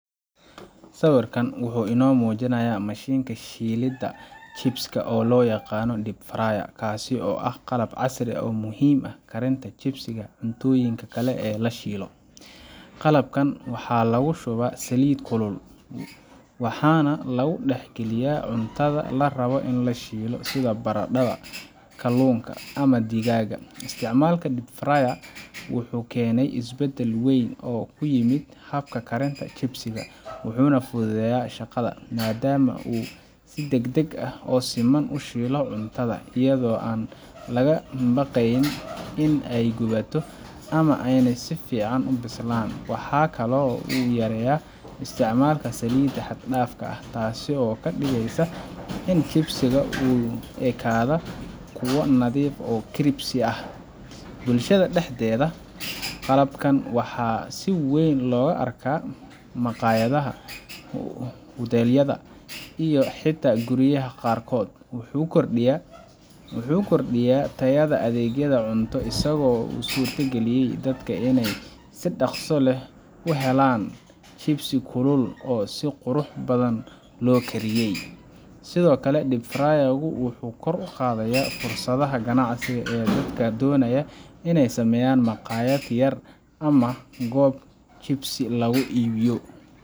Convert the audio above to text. Sawirkan waxuu ino mujinaya mashinka shidada shibska oo lo yaqano deep fryer oo ah qalab casri ah oo muhiim ah karinta shibsiga iyo cuntoyinka kale oo lashilo, qalabkan waxaa lagu shuba saliid kulul, waxana lagu dax galiya cuntadha la rawo in lashilo sitha baradatha kalunka ama digaga isticmalka deep fryer wuxuu kene isbadal wen oo ku yimid habka karinta shibsiga wuxuna fudhudeya shaqadha madama si dagdag ah oo fudud o shilo cuntadha iyadho an laga baqeyn in ee guwato ama ena si fican u bislan, waxaa kalo u yareya isticmalka salida xagdafka ah tasi oo kadigeysa in shibsiga ku nadhiif ah shibsi ah bulshaada daxdedha qalabkan waxaa si wen loga arka maqayadhaha hutelyadha iyo xita guriyaha qarkood wuxuu kordiya tayadha adegyadha cuntadho isago usurta galiye in dadka si daqso leh u helan shibsi kulul oo si qurux badan lo kariye, sitho kale deep fryer gu wuxuu kor u qadhaya fursadhaha ganacsiga ee dadka donaya in ee sameyan maqayaad yar ama goob shibsi lagu ibiyo.